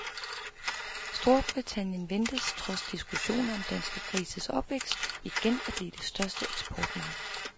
Storbritannien ventes, trods diskussioner om danske grises opvækst, igen at blive det største eksportmarked.